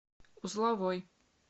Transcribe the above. узловой